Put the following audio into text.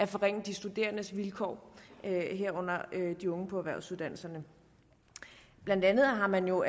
forringe de studerendes vilkår herunder de unge på erhvervsuddannelsernes blandt andet har man jo